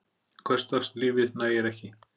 Hversdagslífið nægir ekki.